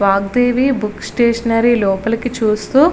Vagdevi books stationery లోపలికి చూస్తూతూ --